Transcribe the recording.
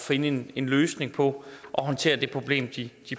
finde en en løsning på at håndtere det problem de